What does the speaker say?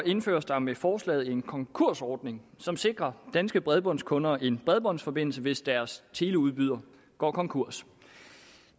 indføres der med forslaget en konkursordning som sikrer danske bredbåndskunder en bredbåndsforbindelse hvis deres teleudbyder går konkurs